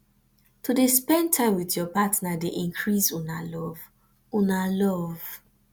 to dey spend time wit your partner dey increase una love una love